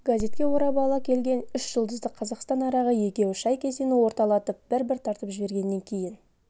газетке орап ала келген үш жұлдызды қазақстан арағы екеуі шай кесені орталатып бір-бір тартып жібергеннен кейін